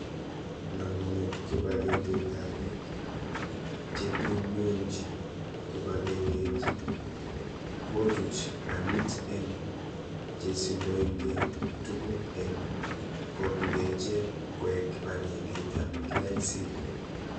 Namunet kibegengeitab bik chetunyunji kibegengeit kochuch alit eng chesindonike tugul eng kotuyo ichek koek kibegengeitab KICD